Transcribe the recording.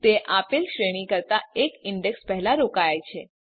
તે આપેલ શ્રેણી કરતા એક ઇંડેક્ષ પહેલા રોકાય છે